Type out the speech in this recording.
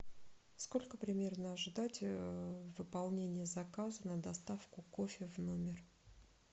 сколько примерно ожидать выполнения заказа на доставку кофе в номер